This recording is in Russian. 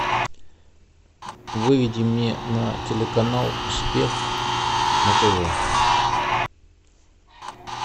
выведи мне на телеканал успех на тв